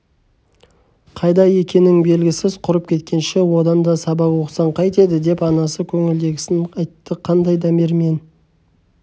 қайда екенің белгісіз құрып кеткенше одан да сабақ оқысаң қайтеді деп анасы көңілдегісін айтты қандай дамирмен